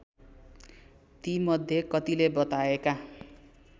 तीमध्ये कतिले बताएका